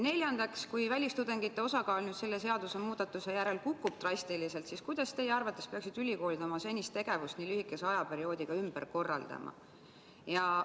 Neljandaks, kui välistudengite osakaal selle seadusemuudatuse järel drastiliselt kukub, siis kuidas teie arvates peaksid ülikoolid oma senist tegevust nii lühikese aja jooksul ümber korraldama?